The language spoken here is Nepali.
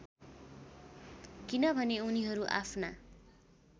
किनभने उनीहरू आफ्ना